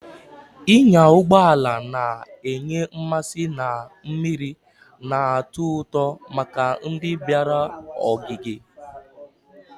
Ịnya ụgbọ ala na-enye mmasị na mmiri na-atọ ụtọ maka ndị ọbịa ogige.